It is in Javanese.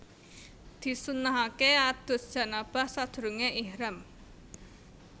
Disunnahaké adus janabah sadurungé ihram